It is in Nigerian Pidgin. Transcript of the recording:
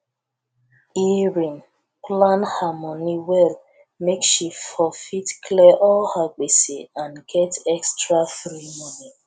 erin plan her moni well make she for fit clear all her gbese and get extra free moni